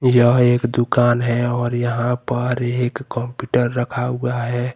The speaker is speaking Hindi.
यह एक दुकान है और यहां पर एक कंप्यूटर रखा हुआ है।